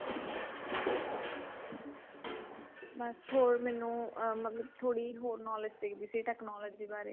ਬਸ ਹਰੋ ਮੈਨੂੰ ਅਮ ਮਤਲਬ ਥੋੜੀ ਹੋਰ knowledge ਚਾਹੀਦੀ ਸੀ technology ਬਾਰੇ